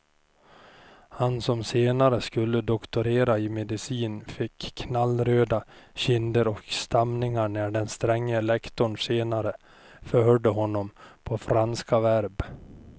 Han som senare skulle doktorera i medicin fick knallröda kinder och stamningar när den stränge lektorn senare förhörde honom på franska verb.